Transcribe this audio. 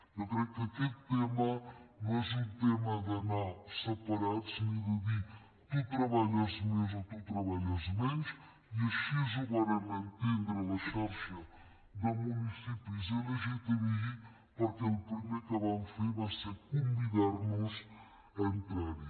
jo crec que aquest tema no és un tema d’anar separats ni de dir tu treballes més o tu treballes menys i així ho varen entendre a la xarxa de municipis lgtbi perquè el primer que van fer va ser convidar nos a entrar hi